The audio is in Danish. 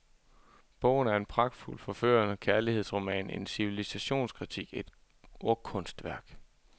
Bogen er en pragtfuld forførende kærlighedsroman, en civilisationskritik, et ordkunstværk.